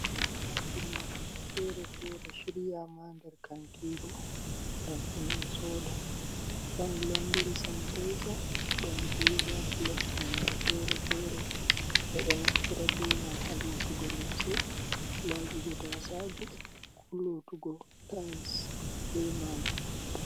Omoji lotugo fere-fere shiryama nder kantiru, ngam himbe soda don londri sanitaiza don viva plus nonde fere-fere be do naftira be man ha lotugo limse laibugo tasaje ku lotugo tais be majum.